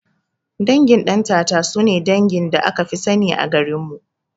Dangin Ɗantata sune dangin da akafi sani a garinmu